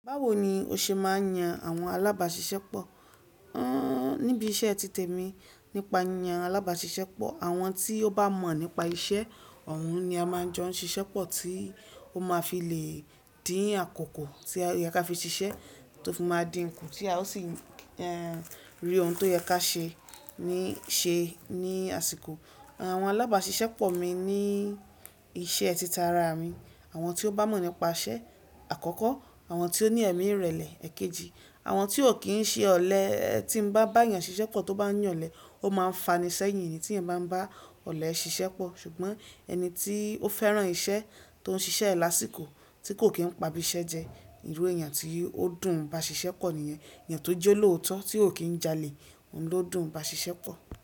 Báwo ni o ṣe máa ń yan àwọn alábáṣiṣẹ́ pọ̀? Ẹ́, níbi iṣẹ́ títè mi, nípa yan alábáṣiṣẹ́ pọ̀, àwọn tí ó bá mọ̀ nípa isẹ́, ọ̀un ni a máa jọ ń ṣiṣẹ́ pọ̀ tí ó máa fi lè dín àkókò tí ó yẹ kí a fi ṣiṣẹ́, tó fi máa dín kù tí a ó sì ẹ́, rí ohun tó yẹ kí á ṣe ní ṣe ní àsìkò. Àwọn alábáṣiṣẹ́ pọ̀ mi ní iṣẹ́ ti tara mi, àwọn tí ó bá mọ̀ nípa isẹ́ àkọ́kọ́, àwọn tí ó ní ẹ̀mí ìrẹ̀lẹ̀ èkejì, àwọn tí ò kí ń ṣe ọ̀lẹ. Tí mo bá bá èèyàn ṣiṣẹ́ pọ̀ tó bá yànlẹ̀, ó máa ń fani sẹ́yìn. Èni tí èèyàn bá ń bá ọ̀lẹ ṣiṣẹ́ pọ̀, ṣùgbọ́n ẹni tí ó fẹ́ràn isẹ́ tó ń ṣiṣẹ́ lásìkò tí kò kí ń pa bí iṣẹ́ jẹ, ìwé èèyàn tí ó dùn bá ṣiṣẹ́ pọ̀ nìyẹn. Èèyàn tó jẹ́ lóòótọ́ tí ò kí ń jalè, òun ló dùn bá ṣiṣẹ́ pọ̀.